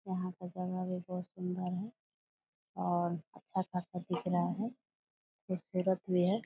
यहाँ पर जगह भी बहोत सुंदर है और अच्छा खासा दिख रहा है खूबसूरत भी है ।